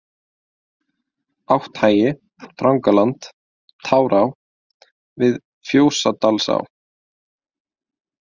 Átthagi, Drangaland, Tárá, Við Fjósadalsá